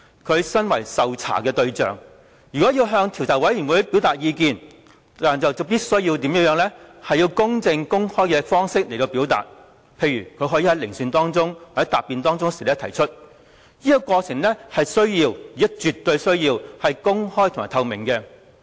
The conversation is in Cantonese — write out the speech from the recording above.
他身為受查對象，如果要向專責委員會表達意見，必須以公正、公開的方式提出，例如他可以在聆訊或答辯的過程中提出，而這過程必須且有絕對需要是公開及透明的。